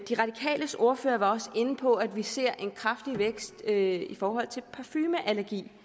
de radikales ordfører var også inde på at vi ser en kraftig vækst i forhold til parfumeallergi